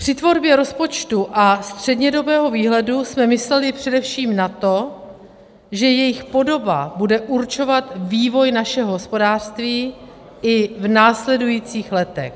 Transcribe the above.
Při tvorbě rozpočtu a střednědobého výhledu jsme mysleli především na to, že jejich podoba bude určovat vývoj našeho hospodářství i v následujících letech.